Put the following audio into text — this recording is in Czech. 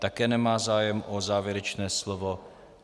Také nemá zájem o závěrečné slovo.